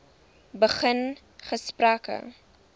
begin gesprekke